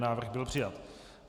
Návrh byl přijat.